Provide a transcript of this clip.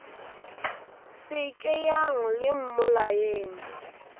se ke yang le mmolayeng